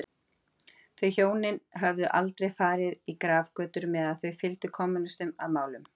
Þau hjónin höfðu aldrei farið í grafgötur með að þau fylgdu kommúnistum að málum.